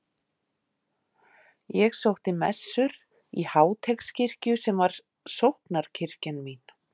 Ég sótti messur í Háteigskirkju sem var sóknarkirkjan mín.